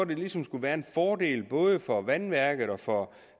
der ligesom skulle være en fordel både for vandværket og for